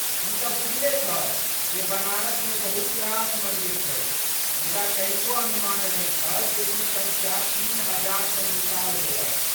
ई तँ बुझले छल जे बनारसमे बहुत रास मन्दिर छै मुदा कनिको अनुमान नहि छल जे ई सङ्ख्या तीन हजार सन विशाल होयत।